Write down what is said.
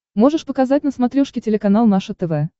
можешь показать на смотрешке телеканал наше тв